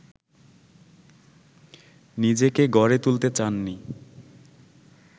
নিজেকে গড়ে তুলতে চাননি